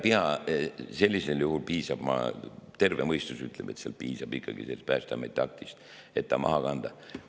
Ega seda ei pea, terve mõistus ütleb, et sellisel juhul piisab Päästeameti aktist, et see maha kanda.